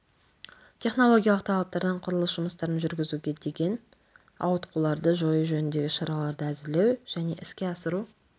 технологиялық талаптардан құрылыс жұмыстарын жүргізуге деген ауытқуларды жою жөніндегі шараларды әзірлеу және іске асыру